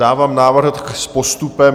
Dávám návrh s postupem.